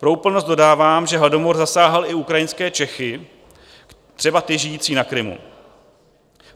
Pro úplnost dodávám, že hladomor zasáhl i ukrajinské Čechy, třeba ty žijící na Krymu.